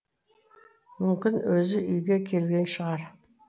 мүмкін өзі үйге келген шығар